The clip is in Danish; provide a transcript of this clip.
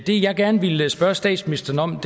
det jeg gerne ville spørge statsministeren om